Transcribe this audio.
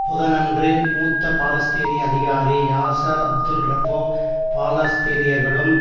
புதனன்று மூத்த பாலஸ்தீனிய அதிகாரி யாசெர் அப்தெல் ரப்போ பாலஸ்தீனியர்களும்